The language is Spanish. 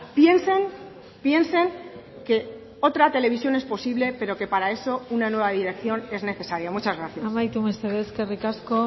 piensen piensen que otra televisión es posible pero que para eso una nueva dirección es necesaria muchas gracias amaitu mesedez eskerrik asko